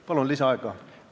Palun lisaaega!